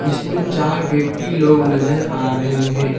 जिसमें चार व्यक्ति लोग नजर आ रहे हैं।